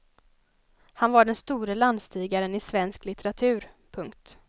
Han var den store landstigaren i svensk litteratur. punkt